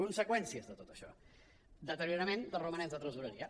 conseqüències de tot això deteriorament dels romanents de tresoreria